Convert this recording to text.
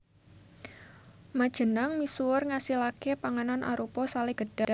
Majenanng misuwur ngasilaké panganan arupa salé gedhang